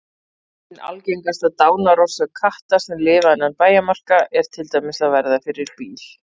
Ein algengasta dánarorsök katta sem lifa innan bæjarmarka er til dæmis að verða fyrir bíl.